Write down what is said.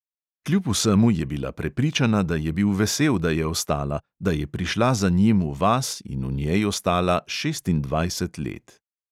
Kljub vsemu je bila prepričana, da je bil vesel, da je ostala, da je prišla za njim v vas in v njej ostala šestindvajset let.